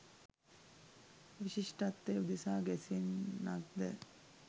විශිෂ්ටත්වය උදෙසා ගැසෙන්නක්ද?